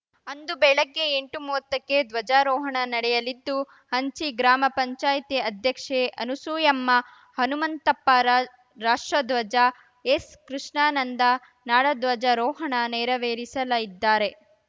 ಅಂದು ಬೆಳಗ್ಗೆ ಎಂಟುಮೂವತ್ತಕ್ಕೆ ಧ್ವಜಾರೋಹಣ ನಡೆಯಲಿದ್ದು ಹಂಚಿ ಗ್ರಾಮ ಪಂಚಾಯತಿ ಅಧ್ಯಕ್ಷೆ ಅನುಸೂಯಮ್ಮ ಹನುಮಂತಪ್ಪ ರಾ ರಾಷ್ಟ್ರಧ್ವಜ ಎಸ್‌ಕೃಷ್ಣಾನಂದ ನಾಡಧ್ವಜಾರೋಹಣ ನೆರವೇರಿಸಲಿದ್ದಾರೆ